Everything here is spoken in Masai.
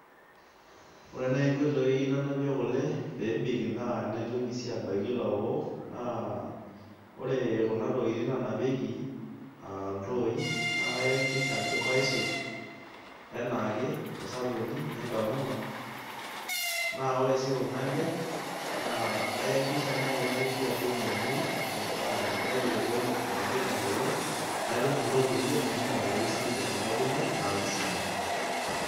Ore naai nkoitoi nanapie kule peebik, neitoki sii aabaiki ilaokok. naa ore Kuna tokitin naanapieki iltooi. nas kaakikisha ajo kaisiuja anaake tosabuni Nakamura na ore sii Kuna le naa kayakikisha naaji Kuna kishu ajo memuoi, maitushul onkulie mingialayu sii ninche Kuna kulie, naa kisidai .